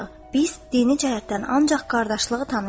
Biz dini cəhətdən ancaq qardaşlığı tanıyırıq.